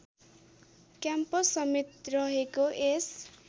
campus समेत रहेको यस